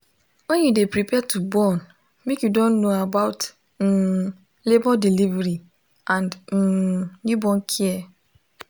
when you de prepare to born make you don know about um labor delivery and um newborn care